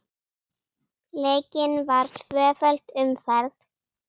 Leikin var tvöföld umferð.